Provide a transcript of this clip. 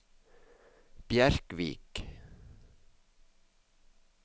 Bjerkvik